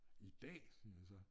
I dag siger jeg så